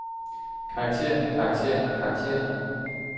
karaktererne karaktererne karaktererne